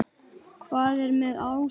Hvað er með ásum?